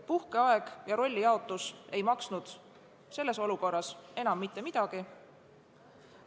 Puhkeaeg ja rollijaotus ei maksnud selles olukorras enam mitte midagi.